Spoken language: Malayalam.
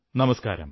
നമസ്കാരം